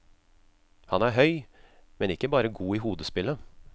Han er høy, men ikke bare god i hodespillet.